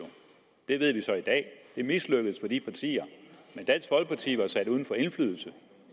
det ved vi så i dag det mislykkedes for de partier men dansk folkeparti var sat uden for indflydelse